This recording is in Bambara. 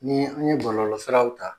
Ni an ye bɔlɔlɔ siraw ta